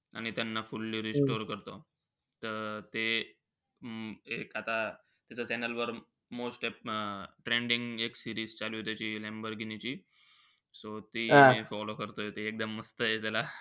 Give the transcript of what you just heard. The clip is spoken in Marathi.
आणि त्यांना fully restore करतो. त ते अं एक आता channel वर trending एक series चालूय त्याची लॅम्बोर्गिनीची. So ती follow करतोय. एकदम मस्तयं.